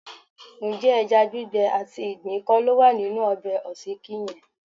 Ǹjẹ́ ẹja gbígbẹ àti ìgbín kọ́ ló wà nínú ọbẹ̀ òsíkí yẹn?